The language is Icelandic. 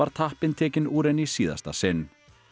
tappinn tekinn úr henni í síðasta sinn